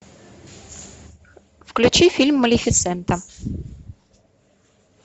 включи фильм малефисента